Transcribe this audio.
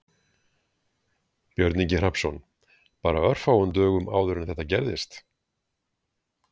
Björn Ingi Hrafnsson: Bara örfáum dögum áður en þetta gerðist?